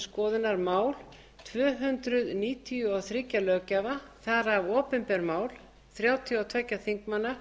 skoðunar mál tvö hundruð níutíu og þrjú löggjafa þar af opinber mál þrjátíu og tveir þingmanna